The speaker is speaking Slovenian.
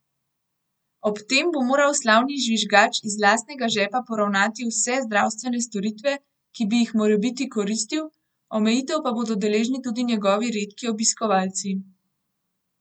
Ob tem bo moral slavni žvižgač iz lastnega žepa poravnati vse zdravstvene storitve, ki bi jih morebiti koristil, omejitev pa bodo deležni tudi njegovi redki obiskovalci.